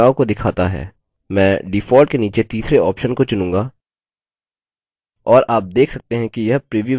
मैं default के नीचे तीसरे option को चुनूँगा और आप देख सकते हैं कि यह प्रीव्यू window में प्रतिबिंबित होता है